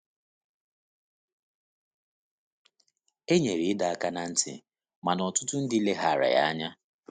E nyere ịdọ aka ná ntị, mana ọtụtụ ndị leghaara ya anya.